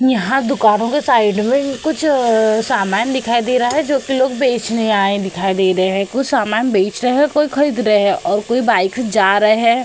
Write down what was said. यहाँ दुकानों के साइड में कुछ अ समान दिखाई दे रहा है जो कि लोग बेचने आए दिखाई दे रहे हैं। कुछ समान बेच रहे हैं कोई खरीद रहे हैं और कोई बाइक जा रहे हैं।